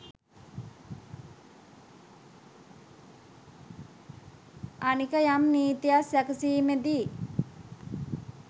අනික යම් නීතියක් සැකසීමේදී